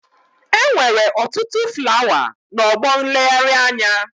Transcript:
Enwere otutu flawa na ọgbọ nleghari anya.